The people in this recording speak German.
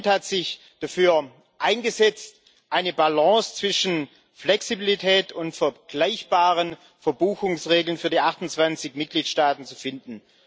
Das Parlament hat sich dafür eingesetzt, eine Balance zwischen Flexibilität und vergleichbaren Verbuchungsregeln für die 28 Mitgliedstaaten zu finden.